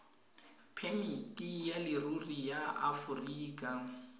phemiti ya leruri ya aforika